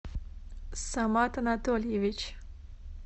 самат анатольевич